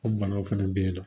O banaw fɛnɛ be yen nɔ